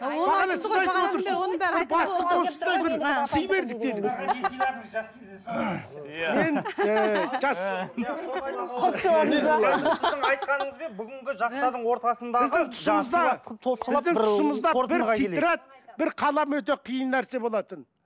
біздің тұсымызда бір тетрадь бір қалам өте қиын нәрсе болатын